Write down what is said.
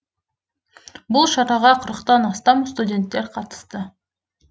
бұл шараға қырықтан астам студенттер қатысты